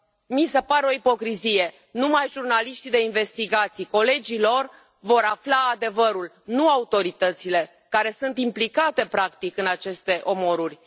Mi se pare o ipocrizie numai jurnaliștii de investigații, numai colegii lor vor afla adevărul, nu autoritățile, care sunt implicate, practic, în aceste omoruri.